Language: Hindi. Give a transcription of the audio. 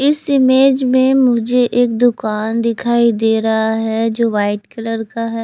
इस इमेज में मुझे एक दुकान दिखाई दे रहा है जो वाइट कलर का है।